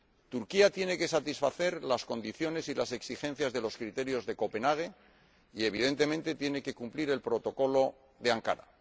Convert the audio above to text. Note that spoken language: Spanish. Turquía tiene que satisfacer las condiciones y las exigencias de los criterios de Copenhague y, evidentemente, tiene que cumplir el Protocolo de Ankara.